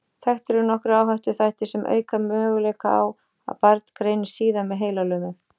Þekktir eru nokkrir áhættuþættir sem auka möguleika á að barn greinist síðar með heilalömun.